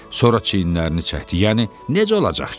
Sonra çiyinlərini çəkdi, yəni necə olacaq ki?